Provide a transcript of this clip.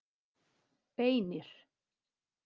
Beinir